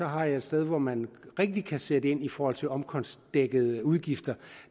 har jeg et sted hvor man rigtig kan sætte ind i forhold til omkostningsdækkende udgifter